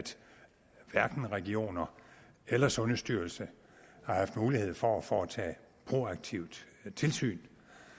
hverken regionerne eller sundhedsstyrelsen har haft mulighed for at foretage proaktivt tilsyn